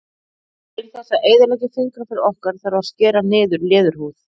Til þess að eyðileggja fingraför okkar þarf að skera niður í leðurhúð.